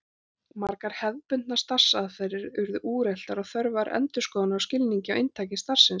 Margar hefðbundnar starfsaðferðir urðu úreltar og þörf var endurskoðunar á skilningi á inntaki starfsins.